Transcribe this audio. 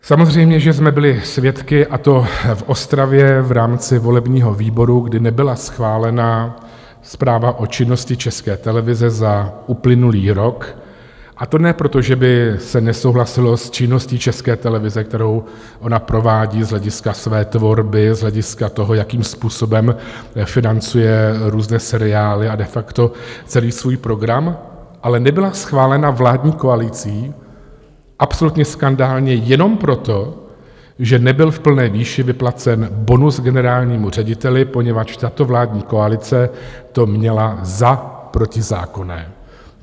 Samozřejmě, že jsme byli svědky, a to v Ostravě v rámci volebního výboru, kdy nebyla schválena zpráva o činnosti České televize za uplynulý rok, a to ne proto, že by se nesouhlasilo s činností České televize, kterou ona provádí z hlediska své tvorby, z hlediska toho, jakým způsobem financuje různé seriály a de facto celý svůj program, ale nebyla schválena vládní koalicí absolutně skandálně jenom proto, že nebyl v plné výši vyplacen bonus generálnímu řediteli, poněvadž tato vládní koalice to měla za protizákonné.